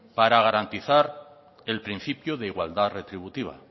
para garantizar el principio de igualdad retributiva